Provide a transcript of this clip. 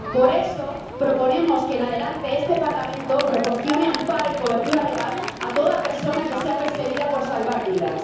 Por eso proponemos que, en adelante, este Parlamento proporcione amparo y cobertura legal a toda persona que sea perseguida por salvar vidas.